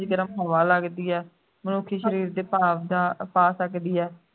ਗਰਮ ਹਵਾ ਲੱਗਦੀ ਐ ਮਨੁੱਖੀ ਸਰੀਰ ਦੇ ਭਾਵ ਜਾਂ ਪਾ ਸਕਦੀ ਹੈ